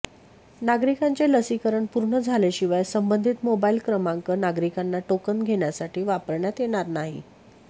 नागरिकांचे लसीकरण पूर्ण झालेशिवाय संबंधित मोबाइल क्रमांक नागरिकांना टोकन घेण्यासाठी वापरण्यात येणार नाही